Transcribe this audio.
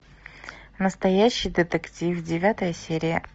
настоящий детектив девятая серия